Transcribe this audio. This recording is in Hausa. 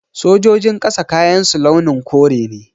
Sojojin ƙasa kayansu launin kore ne